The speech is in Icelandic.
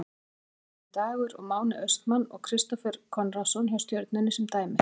Tvíburabræðurnir Dagur og Máni Austmann og Kristófer Konráðsson hjá Stjörnunni sem dæmi.